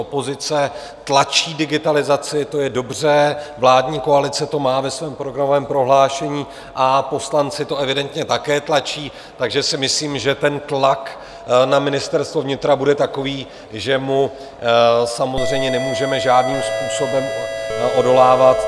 Opozice tlačí digitalizaci, to je dobře, vládní koalice to má ve svém programovém prohlášení a poslanci to evidentně také tlačí, takže si myslím, že ten tlak na Ministerstvo vnitra bude takový, že mu samozřejmě nemůžeme žádným způsobem odolávat.